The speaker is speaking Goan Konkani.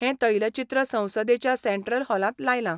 हें तैलचित्र संसदेच्या सेंट्रल हॉलांत लायलां.